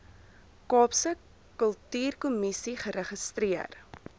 kaapse kultuurkommissie geregistreer